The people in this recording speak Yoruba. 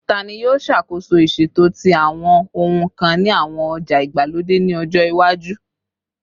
Tani yoo ṣakoso iṣeto ti awọn ohun kan ni awọn oja igbalode ni ọjọ iwaju?